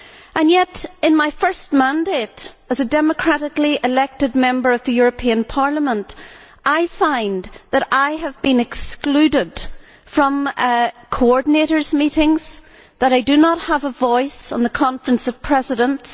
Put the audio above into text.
And yet, in my first mandate as a democratically elected Member of the European Parliament, I find that I have been excluded from coordinators' meetings, that I do not have a voice on the Conference of Presidents.